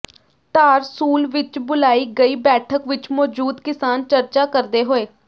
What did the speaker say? ਧਾਰਸੂਲ ਵਿੱਚ ਬੁਲਾਈ ਗਈ ਬੈਠਕ ਵਿੱਚ ਮੌਜੂਦ ਕਿਸਾਨ ਚਰਚਾ ਕਰਦੇ ਹੋਏ